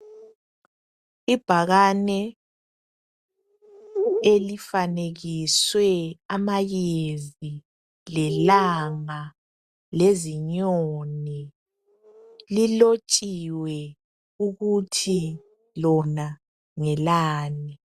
Ibhakane elifanekiswe amayezi lelanga lezinyoni lilotshiwe ukuthi lona ngelani .